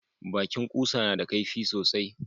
Bakin kusa na da kaifi sosai